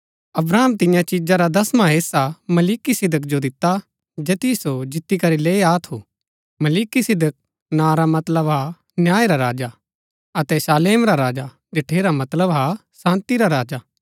अब्राहम तियां चिजा रा दसवां हेस्सा मलिकिसिदक जो दिता जैतिओ सो जीती करी लैई आ थू मलिकिसिदक नां रा मतलब हा न्याय रा राजा अतै शालेम रा राजा जठेरा मतलब हा शान्ती रा राजा